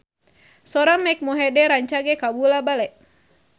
Sora Mike Mohede rancage kabula-bale